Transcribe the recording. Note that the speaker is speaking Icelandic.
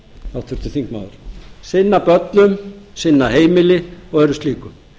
háttvirtur þingmaður sinna börnum sinna heimili og öðru slíku